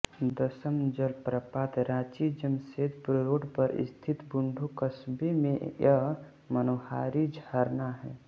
दशम जलप्रपात रांचीजमशेदपुर रोड पर स्थित बुंडू कस्बे में यह मनोहारी झरना है